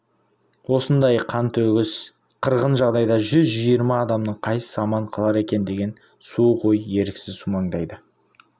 осындай қантөгіс қырғын жағдайда жүз жиырма адамның қайсысы аман қалар екен деген суық ой еріксіз сумаңдайды